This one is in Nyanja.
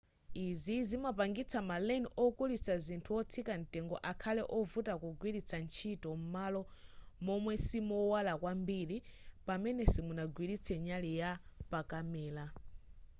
izi zimapangitsa ma len okulitsa zinthu wotsika mtengo akhale wovuta kugwiritsa ntchito m'malo momwe simowala kwambiri pamene simunagwiritse nyali yapakamera